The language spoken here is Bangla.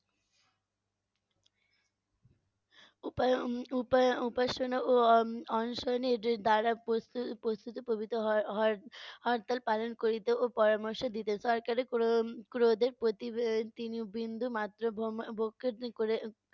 উপায়~ উম উপায়~ উপাসনা ও উম অনশনে এদের দ্বারা পতি~ পতিত পবিত হওয়ার হওয়ার হরতাল পালন করিতে ও পরামর্শ দিতে। সরকারের ক্রো~ উম ক্রোধে প্রতিবেদি বিন্দুমাত্র ভক্তি করে